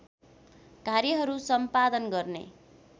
कार्यहरू सम्पादन गर्ने